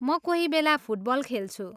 म कोही बेला फुटबल खेल्छु।